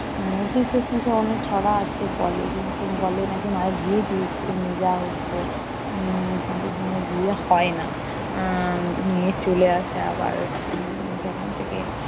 উম কিছু কিছু অনেক ছড়া আছে বলে কিন্তু বলে নাকি মায়ের বিয়ে দিয়ে দিতে নিয়ে যাওয়া হচ্ছে। উম কিন্তু সঙ্গে বিয়ে হয় না। আহ নিয়ে চলে আসে আবার। উম যেখান থেকে